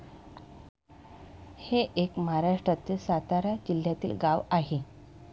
हे एक महाराष्ट्रातील सातारा जिल्ह्यातील गाव आहे.